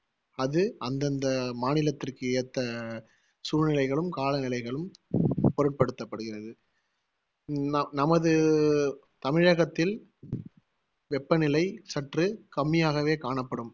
அது அந்தந்த மாநிலத்திற்கு ஏத்த சூழ்நிலைகளும் காலநிலைகளும் பொருட்படுத்தப்படுகிறது ந~ நமது தமிழகத்தில் வெப்பநிலை சற்று கம்மியாகவே காணப்படும்